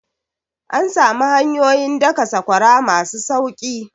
An samu hanyoyin daka sakwara masu sauki